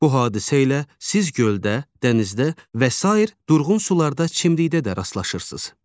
Bu hadisə ilə siz göldə, dənizdə və sair durğun sularda çimlikdə də rastlaşırsız.